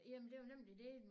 Jamen det jo nemlig det